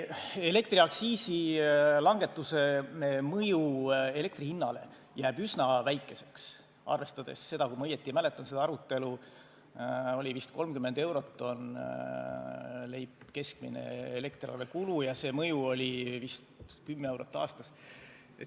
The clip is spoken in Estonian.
Elektriaktsiisi langetuse mõju elektri hinnale jääb üsna väikeseks, arvestades seda , et vist 30 eurot oli keskmine elektriarvekulu ja see mõju oli vist 10 eurot aastas.